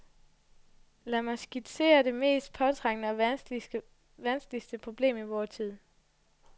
Lad mig skitsere det mest påtrængende og vanskelige problem i vor tid.